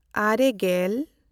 ᱟᱨᱮᱼᱜᱮᱞ